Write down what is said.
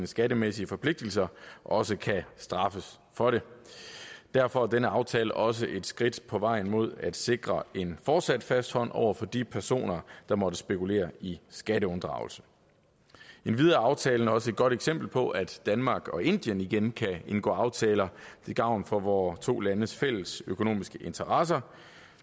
skattemæssige forpligtelser også kan straffes for det derfor er denne aftale også et skridt på vejen mod at sikre en fortsat fast hånd over for de personer der måtte spekulere i skatteunddragelse endvidere er aftalen også et godt eksempel på at danmark og indien igen kan indgå aftaler til gavn for vore to landes fælles økonomiske interesser